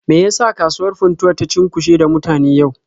Me ya sa kasuwar Funtuwa ta cunkushe da mutane yau?